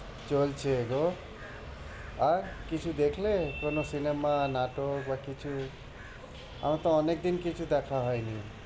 চলছে গো। আর কিছু দেখলে কোনো cinema নাটক বা কিছু? আমার তো অনেকদিন কিছু দেখা হয়নি।